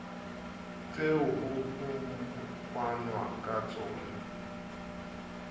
tseo ho fanwang ka tsona